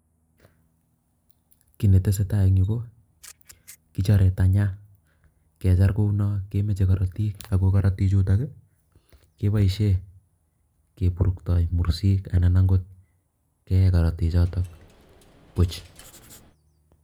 Kiiy ne tesetai eng yu, ko kichare tanya, kechar kounot kemachei korotik ako korotik chuto kepoishe kepurktoi mursik anan kee akot korotik choto buuch.